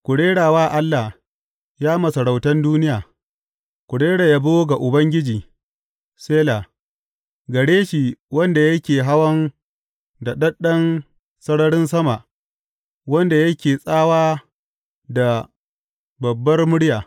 Ku rera wa Allah, ya masarautan duniya, ku rera yabo ga Ubangiji, Sela gare shi wanda yake hawan daɗaɗɗen sararin sama, wanda yake tsawa da babbar murya.